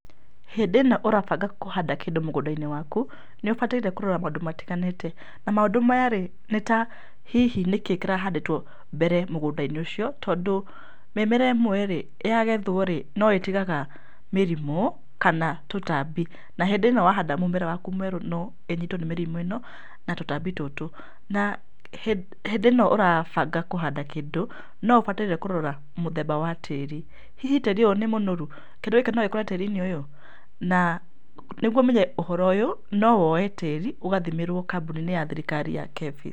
Hĩndĩ ĩno ũrabanga kũhanda kĩndũ mũgũnda-inĩ waku, nĩ ũbataire kũrora maũndũ matiganĩte. Na maũndũ maya rĩ, nĩ ta hihi nĩkĩ kĩrahandĩtwo mbere mũgũnda-inĩ ũcio? Tondũ, mĩmera ĩmwe rĩ, yagethwo rĩ, no ĩtigaga mĩrimũ, kana tũtambi. Na hĩndĩ ĩno wahanda mũmera waku mwerũ no ĩnyitwo nĩ mĩrimũ ĩno, na tũtambi tũtũ. Na hĩndĩ ĩno ũrabanga kũhanda kĩndũ, no ũbataire kũrora mũthemba wa tĩri. Hihi tĩri ũyũ nĩ mũnoru? Kĩndũ gĩkĩ no gĩkũre tĩri-inĩ ũyũ? Na nĩguo ũmenye ũhoro ũyũ, no woye tĩri, ũgathimĩrwo kambuni-inĩ ya thirikari ya KEFRI.